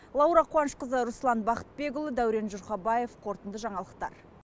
лаура қуанышқызы руслан бақытбекұлы дәурен жұрхабаев қорытынды жаңалықтар